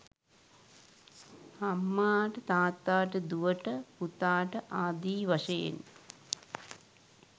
අම්මාට තාත්තාට දුවට පුතාට ආදී වශයෙන්